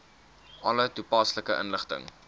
alle toepaslike inligting